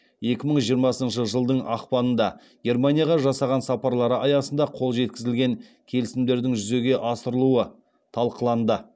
екі мың жиырмасыншы жылдың ақпанында германияға жасаған сапарлары аясында қол жеткізілген келісімдердің жүзеге асырылуы талқыланды